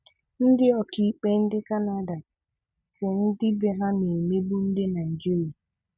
Ndị ọkaikpe ndị kanada sị ndị be ha na-emegbụ ndị Niajịrịa.